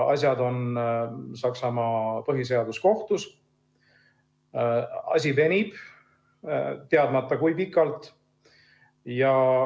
Asi on Saksamaa põhiseaduskohtus ja venib teadmata kui pikalt.